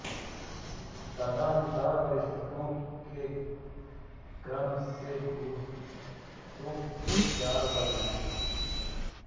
तदनुसार वरिष्ठता के क्रम से दूतों के चार वर्ग हैं